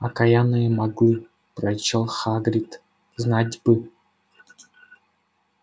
окаянные маглы прорычал хагрид знать бы